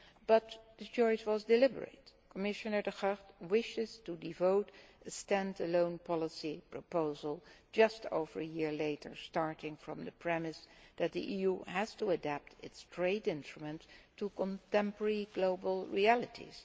But the choice was deliberate. Commissioner De Gucht wishes to devote a standalone policy proposal just over a year later, starting from the premise that the EU has to adapt its trade instruments to contemporary global realities.